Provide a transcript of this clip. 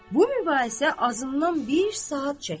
Bu mübahisə azımdan bir saat çəkdi.